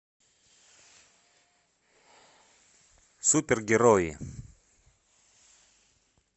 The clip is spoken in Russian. супергерои